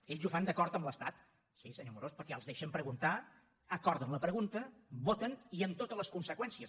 ells ho fan d’acord amb l’estat sí senyor amorós perquè els deixen preguntar acorden la pregunta voten i amb totes les conseqüències